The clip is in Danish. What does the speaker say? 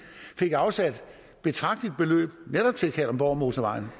fik afsat et betragteligt beløb netop til kalundborgmotorvejen